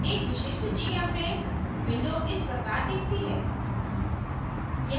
एक विशिष्ट gchempaint window इस प्रकार दिखती है